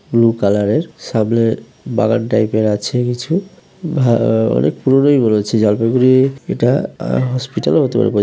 Blue colour এর সামনে বাগান টাইপ এর আছে কিছু ভা-আ-আ অনেক পুরনোই মনে হচ্ছে। জলপাইগুড়ির এটা আ হসপিটালও হতে পারে। বোঝা--